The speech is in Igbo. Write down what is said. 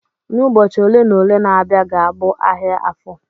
N'ubọchị ole na ole na-abịa ga-abụ ahịa Afọ.